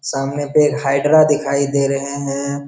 सामने पे हाइड्रा दिखाई दे रहे हैं।